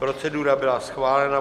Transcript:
Procedura byla schválena.